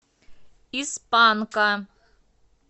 из панка